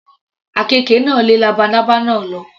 Àkekè náà lé labalábá náà lọ.